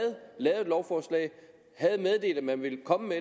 lavet et lovforslag havde meddelt at den ville komme